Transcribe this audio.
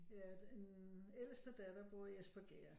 Ja den ældste datter bor i Espergærde